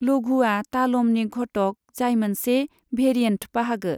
लघूआ तालमनि घटक जाय मोनसे भेरिएन्ट बाहागो।